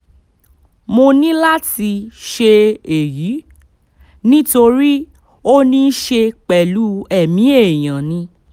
mo ní láti ṣe èyí nítorí ó ní í ṣe pẹ̀lú ẹ̀mí èèyàn ni